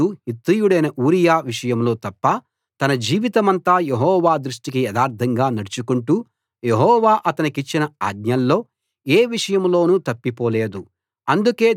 దావీదు హిత్తీయుడైన ఊరియా విషయంలో తప్ప తన జీవితమంతా యెహోవా దృష్టికి యథార్ధంగా నడుచుకొంటూ యెహోవా అతనికిచ్చిన ఆజ్ఞల్లో ఏ విషయంలోనూ తప్పిపోలేదు